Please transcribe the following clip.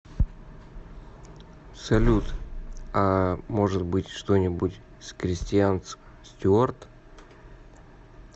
салют ааа может быть что нибудь с кристианц стюард